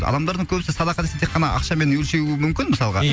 адамдардың көбісі садақа десе тек қана ақшамен өлшеуі мүмкін мысалға ия